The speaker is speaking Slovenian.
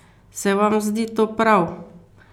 Se vam zdi to prav?